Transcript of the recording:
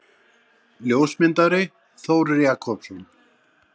Ljósmyndari: Þór Jakobsson.